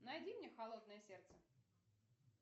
найди мне холодное сердце